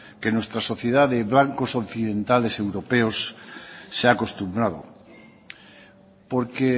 que nuestra sociedad de blancos occidentales europeos se ha acostumbrado porque